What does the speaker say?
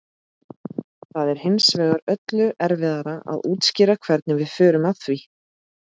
það er hins vegar öllu erfiðara að útskýra hvernig við förum að því